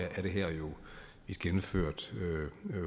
er det her jo et gennemført